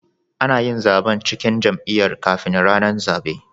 Anayin zaban cikin jam'iya kafin rAnan zabe